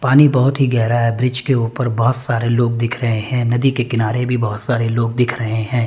पानी बहोत ही गहरा है ब्रिज के ऊपर बहोत सारे लोग दिख रहे है नदी के किनारे भी बहोत सारे लोग दिख रहे है।